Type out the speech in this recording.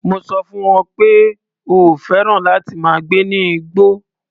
Mo sọ fún wọn pé o ò fẹ́ràn láti máa gbé ní ìgborr.